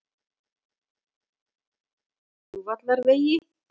Flugvallarvegi